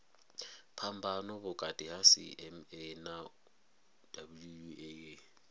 phambano vhukati ha cma na wua